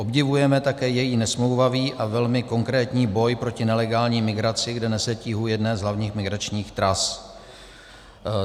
Obdivujeme také její nesmlouvavý a velmi konkrétní boj proti nelegální migraci, kde nese tíhu jedné z hlavních migračních tras.